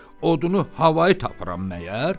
Odunu havayı tapıram məgər?